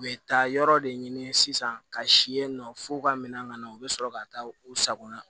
U bɛ taa yɔrɔ de ɲini sisan ka si yen nɔ f'u ka minɛn ka na u bɛ sɔrɔ ka taa u sagona